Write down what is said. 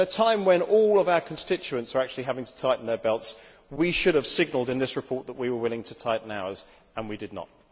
At a time when all our constituents are having to tighten their belts, we should have signalled in this report that we were willing to tighten ours too, and we did not.